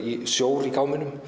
sjór í gámnum